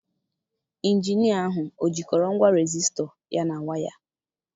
Injinia ahụ ọ jikọrọ ngwa resisto ya na waya?